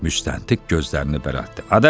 Müstəntiq gözlərini bərətdı.